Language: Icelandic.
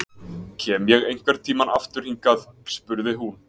Kem ég einhvern tímann aftur hingað spurði hún.